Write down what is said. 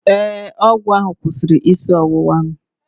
Ee, ọgwụ ahụ kwụsịrị isi ọwụwa m